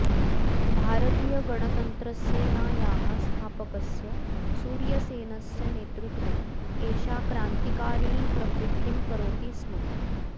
भारतीयगणतन्त्रसेनायाः स्थापकस्य सूर्यसेनस्य नेतृत्वे एषा क्रान्तिकारिणीप्रवृत्तिं करोति स्म